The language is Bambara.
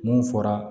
Mun fɔra